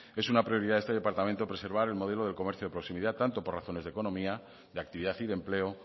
es una prioridad de este departamento preservar el modelo de comercio de proximidad tanto por razones de economía de actividad y de empleo